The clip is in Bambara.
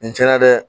Nin cɛn na dɛ